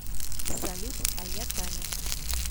салют а я таня